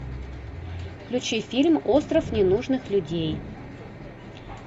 включи фильм остров ненужных людей